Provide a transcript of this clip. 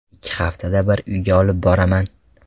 Ikki haftada bir uyga olib boraman.